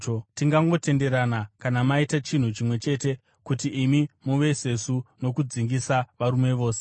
Tingangotenderana kana maita chinhu chimwe chete: kuti imi muve sesu nokudzingisa varume vose.